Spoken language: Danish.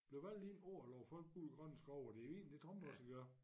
Blev valgt ind på at love folk guld og grønne skove og det egentlig det Trump også gør